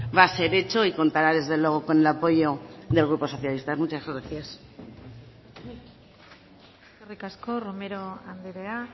va a ser hecho y contará desde luego con el apoyo del grupo socialista muchas gracias eskerrik asko romero andrea